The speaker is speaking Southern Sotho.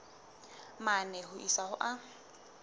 mane ho isa ho a